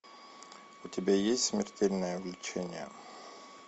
у тебя есть смертельное влечение